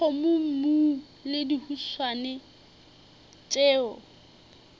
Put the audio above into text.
le dikgomommuu le dihuswane tšeo